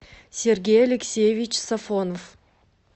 сергей алексеевич сафонов